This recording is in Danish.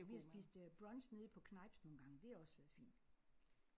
Vi har spist øh brunch nede på Kneips nogle gange det har også været fint